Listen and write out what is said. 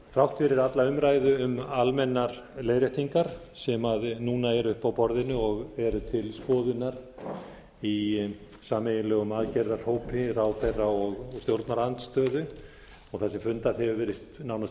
þrátt fyrir alla umræðu um almennar leiðréttingar sem núna eru uppi á borðinu og eru til skoðunar í sameiginlegum aðgerðahópi ráðherra og stjórnarandstöðu og þar sem fundað hefur verið nánast